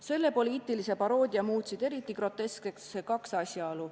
Selle poliitilise paroodia muutsid eriti groteskseks kaks asjaolu.